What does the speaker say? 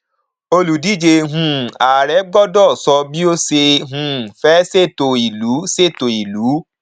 olùdíjé um ààrẹ gbọdọ sọ bí ó ṣe um fẹ ṣètò ìlú ṣètò ìlú